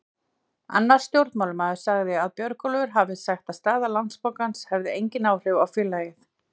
Annar stjórnarmaður sagði að Björgólfur hafi sagt að staða Landsbankans hefði engin áhrif á félagið.